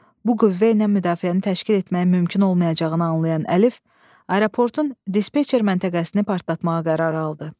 Bu qüvvə ilə müdafiəni təşkil etməyin mümkün olmayacağını anlayan Əlif aeroportun dispetçer məntəqəsini partlatmağa qərar aldı.